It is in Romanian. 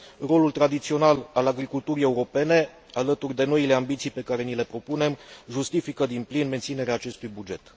Rolul tradițional al agriculturii europene, alături de noile ambiții pe care ni le propunem, justifică din plin menținerea acestui buget.